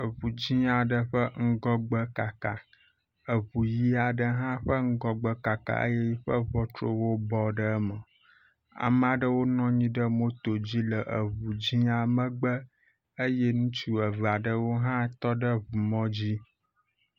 Eŋu dzɛ̃a ɖe ƒe ŋgɔgbe kaka. Eŋu ʋi aɖe hã ƒe ŋgɔgbe kaka eye eƒe ŋɔtruwo bɔ ɖe eme. Ame aɖewo nɔ anyi ɖe moto dzi le eŋua dzɛ̃a megbe eye ŋutsu evea ɖewo hã tɔ ɖe ŋumɔdzi.